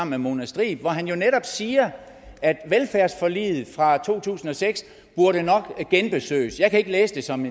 med mona striib hvor han jo netop siger at velfærdsforliget fra to tusind og seks nok genbesøges jeg kan ikke læse det som